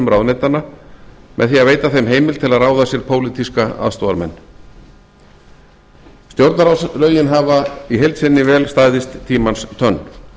ráðuneytanna með því að veita þeim heimild til að ráða sér pólitíska aðstoðarmenn stjórnarráðslögin hafa í heild sinni vel staðist tímans tönn